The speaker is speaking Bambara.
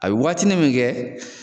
A be waati nin min kɛ